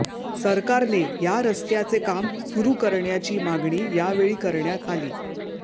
सरकारने या रस्त्याचे काम सुरू करण्याची मागणी यावेळी करण्यात आली